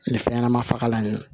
Nin fɛn ɲɛnama fagalan in